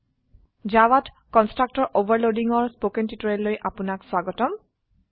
জাভাত constructor overloading ৰ spoken টিউটোৰিয়েলে আপনাক স্বাগতম